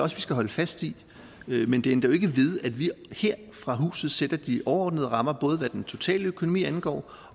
også vi skal holde fast i men det ændrer jo ikke ved at vi her fra huset sætter de overordnede rammer både hvad den totale økonomi angår